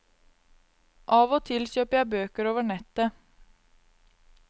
Av og til kjøper jeg bøker over nettet.